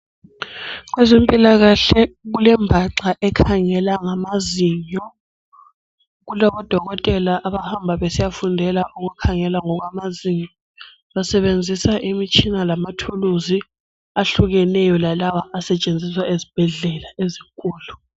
Kwezempilakahle kulembhaxa ekhangela ngamazinyo. Kulabodokotela abahamba besiyafundela ngokukhangela ngokwamazinyo. Basebenzisa imitshina lamathuluzi ahlukeneyo lalawa asetshenziswa ezibhedlela ezinkulu.